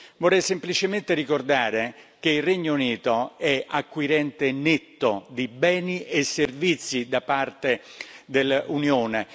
Vorrei semplicemente ricordare che il Regno Unito è acquirente netto di beni e servizi da parte dell'Unione.